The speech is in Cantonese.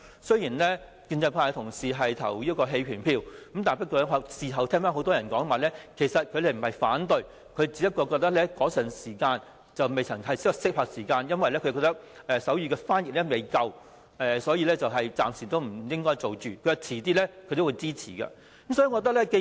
雖然建制派的同事表決棄權，但事後聽到很多議員說他們不是反對，只是覺得那時候不是合適的時間，因為未有足夠的手語翻譯服務，所以暫時不應該推行，稍後是會支持的。